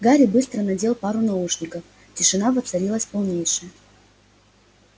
гарри быстро надел пару наушников тишина воцарилась полнейшая